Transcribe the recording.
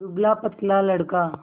दुबलापतला लड़का